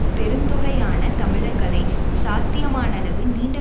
பெருந்தொகையான தமிழர்களை சாத்தியமானளவு நீண்ட